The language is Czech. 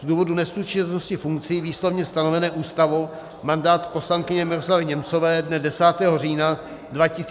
Z důvodu neslučitelnosti funkcí výslovně stanovené Ústavou mandát poslankyně Miroslavy Němcové dne 10. října 2020 zanikl.